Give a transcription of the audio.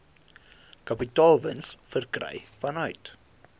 kapitaalwins verkry vanuit